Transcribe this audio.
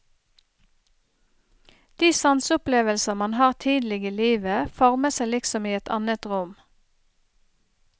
De sanseopplevelser man har tidlig i livet, former seg liksom i et annet rom.